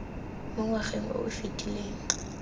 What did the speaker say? mo ngwageng o o fetileng